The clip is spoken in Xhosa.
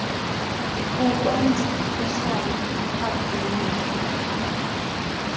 kukwenza uhlale uphaphamile